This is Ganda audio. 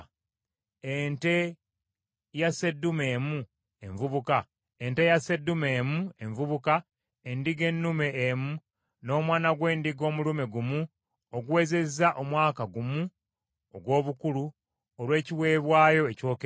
ente ya sseddume emu envubuka, endiga ennume emu, n’omwana gw’endiga omulume gumu oguwezezza omwaka gumu ogw’obukulu, olw’ekiweebwayo ekyokebwa;